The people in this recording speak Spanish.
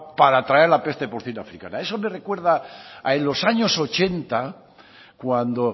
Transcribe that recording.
para traer la peste porcina africana eso me recuerda a en los años ochenta cuando